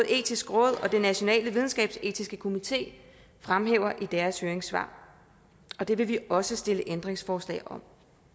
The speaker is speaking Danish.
etiske råd og national videnskabsetisk komité fremhæver i deres høringssvar og det vil vi også stille ændringsforslag om